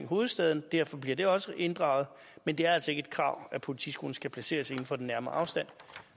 hovedstaden og derfor bliver det også inddraget men det er altså ikke et krav at politiskolen skal placeres inden for en nærmere afstand